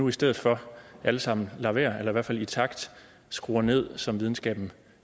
i stedet for alle sammen lade være eller i hvert fald i takt skrue ned som videnskaben